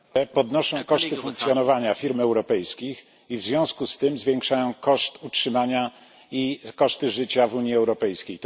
Podnoszą koszty funkcjonowania firm europejskich i w związku z tym zwiększają koszty utrzymania i koszty życia w Unii Europejskiej.